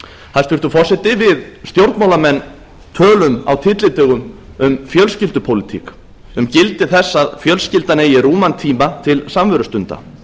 hæstvirtur forseti við stjórnmálamenn tölum á tyllidögum um fjölskyldupólitík um gildi þess að fjölskyldan eigi rúman tíma til samverustunda